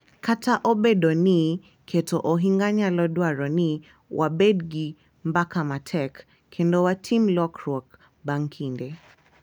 Kata obedo ni keto ohinga nyalo dwaro ni wabed gi mbaka matek kendo watim lokruok bang’ kinde,